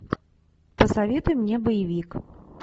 посоветуй мне боевик